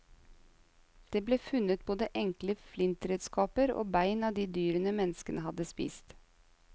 Det ble funnet både enkle flintredskaper og bein av de dyrene menneskene hadde spist.